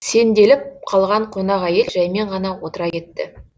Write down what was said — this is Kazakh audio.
сеңделіп қалған қонақ әйел жәймен ғана отыра кетті